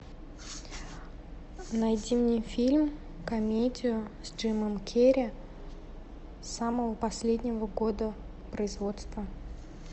найди мне фильм комедию с джимом керри самого последнего года производства